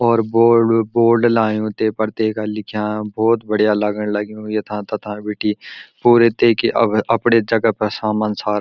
और बोल्ड बि बोल्ड लायूँ तेफर तेका लिख्याँ भौत बढ़िया लगण लग्युं यथां तथां बिटी पूरे तेकी अब अप्डे जगह पर सामन सारा।